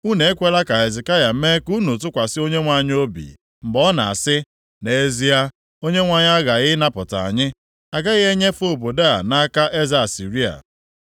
Unu ekwela ka Hezekaya mee ka unu tụkwasị Onyenwe anyị obi, mgbe ọ na-asị, ‘Nʼezie, Onyenwe anyị aghaghị ịnapụta anyị. A gaghị enyefe obodo a nʼaka eze Asịrịa.’